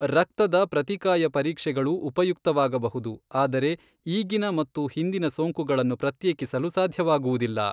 ರಕ್ತದ ಪ್ರತಿಕಾಯ ಪರೀಕ್ಷೆಗಳು ಉಪಯುಕ್ತವಾಗಬಹುದು, ಆದರೆ ಈಗಿನ ಮತ್ತು ಹಿಂದಿನ ಸೋಂಕುಗಳನ್ನು ಪ್ರತ್ಯೇಕಿಸಲು ಸಾಧ್ಯವಾಗುವುದಿಲ್ಲ.